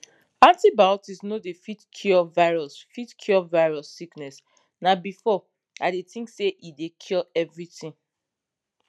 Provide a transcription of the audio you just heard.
antibiotics no dey fit cure virus fit cure virus sickness na before i dey think say e dey cure everything